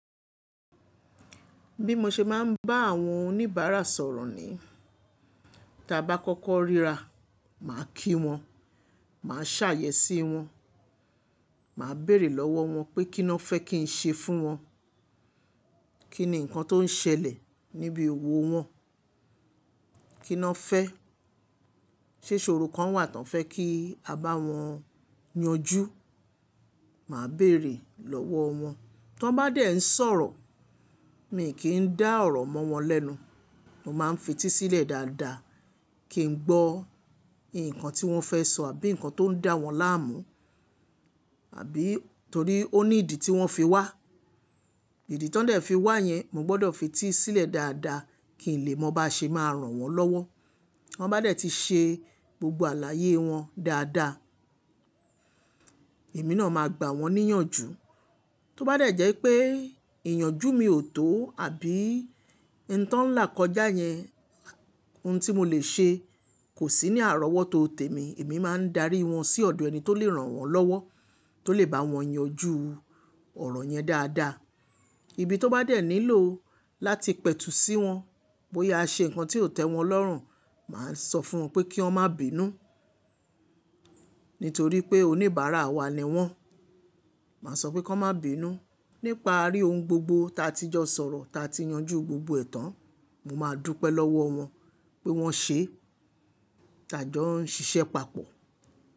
Bí mo ṣe máa ń bá àwọn oníbàárà sọ̀rọ̀ ni, tí a bá kọ́kọ́ ríra, màá kí wọn, màá ṣàyè sí wọn, màá bèrè lọ́wọ́ wọn pé kí lọ fẹ́ kí n ṣe fún wọn, kí ni ǹkan tó ń ṣẹlẹ̀ níbi owó wọn, kí lọ fẹ́, ṣé iṣòro kan wà tí wọ́n fẹ́ kí a bá wọn yanjú, màá bèrè lọ́wọ́ wọn. Tí wọ́n bá dé ń sọ̀rọ̀, mi kì í dá ọ̀rọ̀ mọ́ wọn lẹ́nu, mo máa ń fetí sílẹ̀ dáadáa kí n gbọ́ ǹkan tí wọ́n fẹ́ sọ àbí ǹkan tó ń dá wọn láàmú, àbí torí ó ní ìdí tí wọ́n fi wá. Ìdí tí wọ́n dẹ̀ fi wá yẹn, mo gbọdọ̀ fetí sílẹ̀ dáadáa kí n lè mọ bá ṣe máa ràn wọ́n lọ́wọ́. Ti Wọ́n bá dé tí ṣe gbogbo àlàyé wọn dáadáa, èmi náà máa gbà wọ́n níyànjú. Tí ó bá dẹ̀ jẹ́ pé ìyànjú mi ò tó àbí ǹtàn ńlá kọjá yẹn, ohun tí mo lè ṣe kò sí ní àrọ́wọ́tò tèmi, èmi máa ń darí wọn sí ọ̀dọ̀ ẹni tó lè ràn wọ́n lọ́wọ́, tó lè bá wọn yanjú ọ̀rọ̀ yẹn dáadáa. Ibi tí wọ́n bá dé nílò láti pẹ̀tù sí wọn, bóyá a ṣe ǹkan tí ò tẹ́ wọn lọ́rùn, màá sọ fún wọn pé kí wọ́n má binú nítorí pé oníbàárà wa ni wọ́n. Màá sọ pé kí wọ́n má binú nípaarí ohun gbogbo ta tí jọ sọ̀rọ̀, ta tí yanjú gbogbo ẹ̀ tàn. Mo máa dúpẹ́ lọ́wọ́ wọn pé wọ́n ṣe tájọ́ ń ṣiṣẹ́ papọ̀.